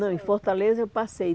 Não, em Fortaleza eu passei.